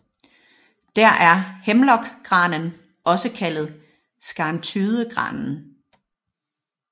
Der er Hemlock granen også kaldet Skarntydegranen